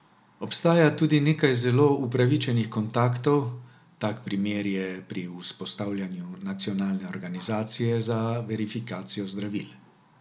Obstaja tudi nekaj zelo upravičenih kontaktov, tak primer je pri vzpostavljanju nacionalne organizacije za verifikacijo zdravil.